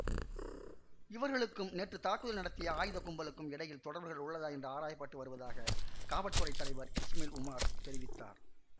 இவர்களுக்கும் நேற்று தாக்குதல் நடத்திய ஆயுத கும்பலுக்கும் இடையில் தொடர்புகள் உள்ளதா என்பது ஆராய பட்டு வருவதாக காவல் துறை தலைவர் இசுமைல் ஒமார் தெரிவித்தார்